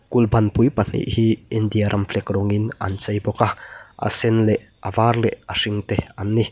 kulh ban pui pahnih hi India ram flek rawngin an chei bawk a a sen leh a var leh a hring te an ni.